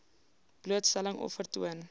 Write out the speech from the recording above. blootstelling of vertoon